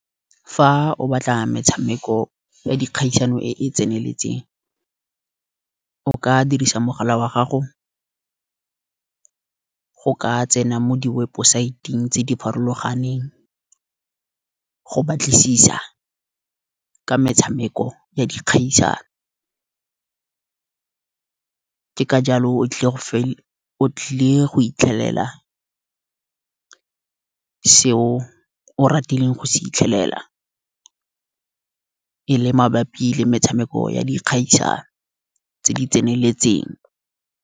Fa o batla metshameko ya dikgaisano e e tseneletseng, o ka dirisa mogala wa gago go ka tsena mo di websaeteng tse di farologaneng, go batlisisa ka metshameko ya dikgaisano. Ke ka jalo o tlile go hitlhelela seo o ratileng go se hitlhelela, e le mabapi le metshameko ya di ikgaisano tse di tseneletseng.